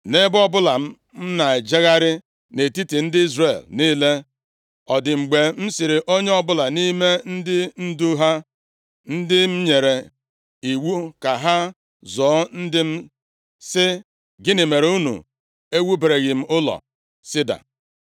Nʼebe ọbụla m na-ejegharị nʼetiti ndị Izrel niile, ọ dị mgbe m sịrị onye ọbụla nʼime ndị ndu ha, ndị m nyere iwu ka ha zụọ ndị m, sị, “Gịnị mere unu ewubereghị m ụlọ sida?” ’